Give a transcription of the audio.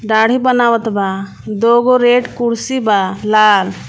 दाढ़ी बनावत बा दूगो रेड कुर्सी बा लाल.